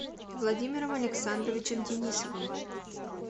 владимиром александровичем денисовым